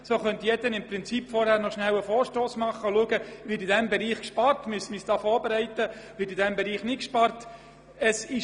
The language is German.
Dann könnte nämlich im Prinzip jedermann vorher noch einen Vorstoss eingeben und schauen, ob in diesem Bereich gespart wird oder ob er hierzu noch etwas veranlassen muss.